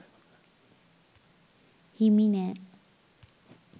හිමි නෑ.